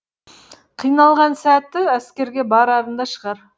қиналған сәті әскерге барарында шығар